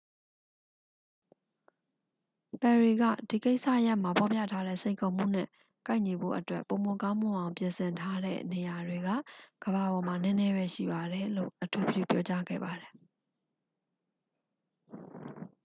"ပယ်ရီက "ဒီကိစ္စရပ်မှာ ဖော်ပြထားတဲ့ စိန်ခေါ်မှုနဲ့ ကိုက်ညီဖို့အတွက် ပိုမိုကောင်းမွန်အောင် ပြင်ဆင်ထားတဲ့ နေရာတွေက ကမ္ဘာပေါ်မှာ နည်းနည်းပဲရှိပါတယ်" လို့ အထူးပြုပြောကြားခဲ့ပါတယ်။